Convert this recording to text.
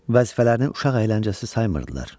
Vəzifələrini uşaq əyləncəsi saymırdılar.